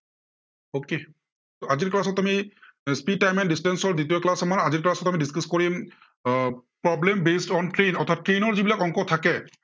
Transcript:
okay আজিৰ speed time and distance ৰ দ্বিতীয় class আমাৰ। আজিৰ calss ত আমি discuss কৰিম আহ problem based on train অৰ্থাত train ৰ যি বিলাক অংক থাকে